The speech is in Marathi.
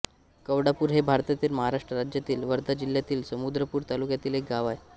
कवडापूर हे भारतातील महाराष्ट्र राज्यातील वर्धा जिल्ह्यातील समुद्रपूर तालुक्यातील एक गाव आहे